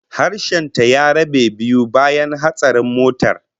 Harshen ta ya rabe biyu bayan hatsarin motar